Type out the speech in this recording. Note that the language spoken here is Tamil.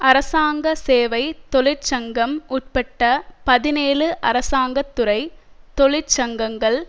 அரசாங்க சேவை தொழிற்சங்கம் உட்பட்ட பதினேழு அரசாங்கதுறை தொழிற்சங்கங்கள்